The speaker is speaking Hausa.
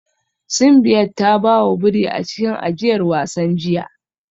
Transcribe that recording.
Simbiat ta ba wa biri a cikin ajiyar wasan jiya